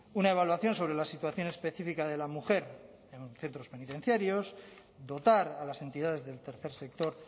una evaluación sobre la situación específica de la mujer en centros penitenciarios dotar a las entidades del tercer sector